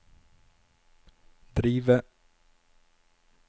drive